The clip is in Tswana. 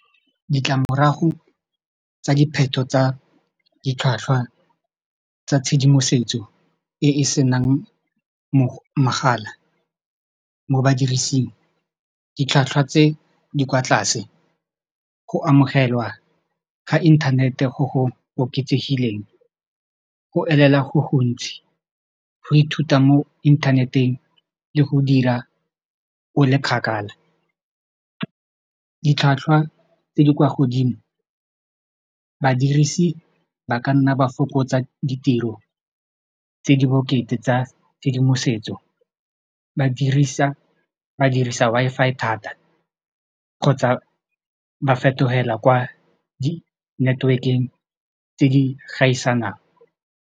Ditlamorago tsa dipheto tsa ditlhwatlhwa tsa tshedimosetso e e senang mogala mo badirising ditlhwatlhwa tse di kwa tlase go amogelwa ga inthanete go go oketsegileng go elela go gontsi go ithuta mo inthaneteng le go dira o le kgakala ditlhwatlhwa tse di kwa godimo badirisi ba ka nna ba fokotsa ditiro tse di bokete tsa tshedimosetso ba dirisa Wi-Fi thata kgotsa ba fetogela kwa di-network-eng tse di gaisanang.